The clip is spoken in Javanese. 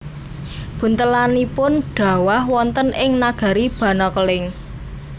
Buntelanipun dhawah wonten ing nagari Banakeling